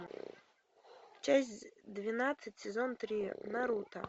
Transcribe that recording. часть двенадцать сезон три наруто